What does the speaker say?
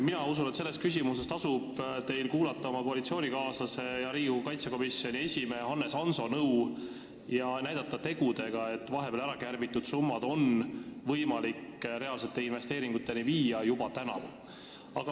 Mina usun, et selles küsimuses tasub teil kuulata oma koalitsioonikaaslase ja riigikaitsekomisjoni esimehe Hannes Hanso nõu ja näidata tegudega, et vahepeal ärakärbitud summad on võimalik reaalsete investeeringuteni viia juba täna.